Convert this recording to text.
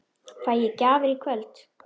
Fæ ég gjafir í kvöld?